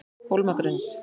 Hólmagrund